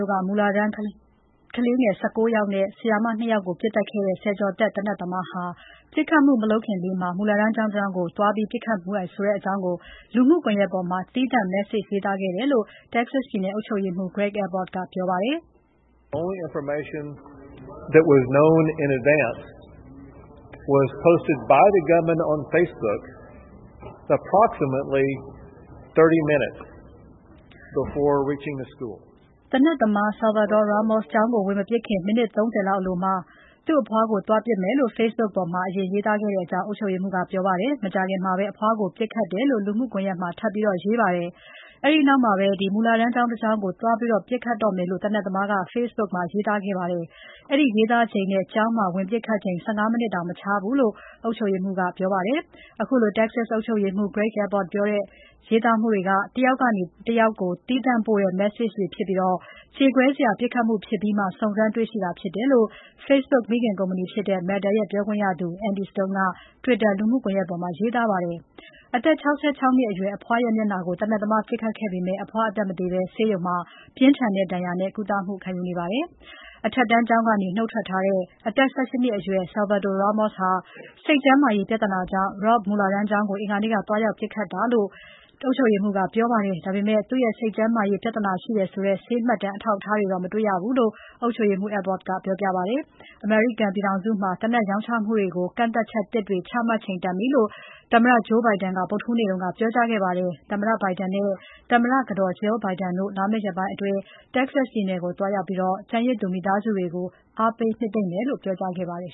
ို့က မူလတန်းကလေးငယ် ၁၉ ယောက်နဲ့ ဆရာမ ၂ ယောက်ကို ပစ်သတ်ခဲ့တဲ့ ဆယ်ကျော်သက် သေနတ်သမားဟာ ပစ်ခတ်မှုမလုပ်ခင်လေးမှာ မူလတန်းကျောင်းတကျောင်းကို သွားပစ်ခတ်မယ်ဆိုတဲ့အကြောင်း လူမှုကွန်ရက်ပေါ်မှာ သီးသန့် Message ရေးသားခဲ့တယ်လို့ Texas ပြည်နယ် အုပ်ချုပ်ရေးမှူး Greg Abbott ကပြောပါတယ်။ သေနတ်သမား Salvador Ramos ကျောင်းကို ဝင်မပစ်ခင် မိနစ် ၃၀ အလိုမှာ သူ့အဖွားကို သွားပစ်မယ်လို့ Facebook ပေါ်မှာ ရေးသားခဲ့တယ်လို့ အုပ်ချုပ်ရေးမှူး ကပြောပါတယ်။ မကြာခင်မှာပဲ အဖွားကို ပစ်ခတ်ခဲ့တယ်လို့ ထပ်ရေးတင်ပါတယ်။ အဲဒီနောက်မှာပဲ မူလတန်းကျောင်းတကျောင်းကို သွားပစ်ခတ်တော့မယ်လို့ သေနတ်သမားက Facebook ပေါ်မှာ ရေးသားခဲ့ပါတယ်။ အဲဒီရေးသားချိန်နဲ့ ကျောင်းမှာ ပစ်ခတ်ချိန် ၁၅ မိနစ်တောင် မခြားဘူးလို့ အုပ်ချုပ်ရေးမှူး ကပြောပါတယ်။ အခုလို Texas အုပ်ချုပ်ရေးမှူး Greg Abbott ပြောတဲ့ ရေးသားမှုတွေက တယောက်ကနေ တယောက်ကို သီးသန့်ပို့တဲ့ Message တွေဖြစ်ပြီး ကြေကွဲစရာပစ်ခတ်မှုဖြစ်ပြီးမှ စုံစမ်းတွေ့ရှိတာဖြစ်တယ်လို့ Facebook မိခင်ကုမ္ပဏီဖြစ်တဲ့ Meta ရဲ့ ပြောခွင့်ရသူ Andy Stone က Twitter လူမှုကွန်ယက်ပေါ်မှာ ရေးသားခဲ့ပါတယ်။ အသက် ၆၆ နှစ် အရွယ် အဖွားရဲ့မျက်နှာကို သေနတ်သမားပစ်ခဲ့ပေမယ့် အဖွားအသက်မသေဘဲ ဆေးရုံမှာ ပြင်းထန်တဲ့ဒဏ်ရာနဲ့ ကုသမှုခံယူနေပါတယ်။ အထက်တန်းကျောင်းကနေ နုတ်ထွက်ထားတဲ့ အသက် ၁၈ နှစ်အရွယ် Salvador Ramos ဟာ စိတ်ကျန်းမာရေးပြဿနာကြောင့် Robb မူလတန်းကျောင်းကို အင်္ဂါနေ့က သွားရောက်ပစ်ခတ်တာလို့ ပြောပါတယ်။ ဒါပေမယ့် သူ့စိတ်ကျန်းမာရေး ပြဿနာရှိတယ်ဆိုတဲ့ ဆေးမှတ်တမ်း အထောက်အထားတွေတော့ မတွေ့ဘူးလို့ အုပ်ချုပ်ရေးမှူး Abbott ကပြောပါတယ်။ အမေရိကန်ပြည်ထောင်စုမှာ သေနတ်ရောင်းချမှုတွေကို ကန့်သတ်ချက်သစ်တွေ ချမှတ်ချိန်တန်ပြီလို့ သမ္မတ Joe Biden က ဗုဒ္ဓဟူးနေ့က ပြောကြားခဲ့ပါတယ်။ သမ္မတ Biden နဲ့ သမ္မတကတော် Jill Biden တို့ လာမယ့်ရက်ပိုင်းအတွင်း Texas ပြည်နယ်ကို သွားရောက်ပြီး ကျန်ရစ်သူ မိသားစုတွေကို အားပေးနှစ်သိမ့်မယ်လို့ ပြောကြားခဲ့ပါတယ်